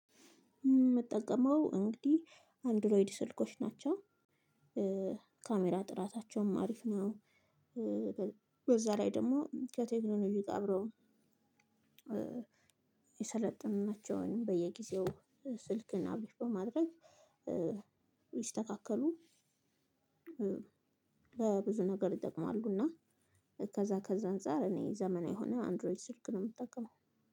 የምጠቀመው እንግዲህ አንድሮይድ ስልኮች ናቸው። ካሜራ ጥራታቸውም አሪፍ ነው። በዛ ላይ ደግሞ ከቴክኖሎጂ ጋር አብሮ የሰለጠኑ ናቸው። በየጊዜው ስልክን አፕዴት በማድረግ ሊስተካከሉ በብዙ ነገር ይጠቅማሉ እና ከዛ ከዛ አንፃር እኔ ዘመናዊ የሆነ አንድሮይድ ስልክ ነው የምጠቀመው።